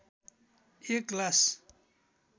एक ग्लास